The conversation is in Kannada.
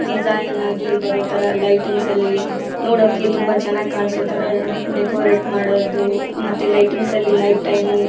ಡಿಸೈನ್ ಆಗಿ ಬಾರೋ ತರ ಲೈಟಿಂಗ್ಸ್ ಅಲ್ಲಿ ನೋಡೋಕೆ ತುಂಬ ಚೆನ್ನಾಗಿ ಕನ್ಸೋತರ ಡೆಕೋರಟ್ ಮಾಡೋದು ಮತ್ತೆ ಲೈಟಿಂಗ್ಸ್ ಅಲ್ಲಿ ನೈಟ್ ಟೈಮ್ --